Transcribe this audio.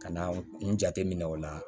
Ka na n jateminɛ o la